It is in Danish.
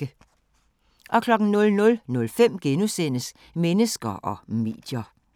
00:05: Mennesker og medier *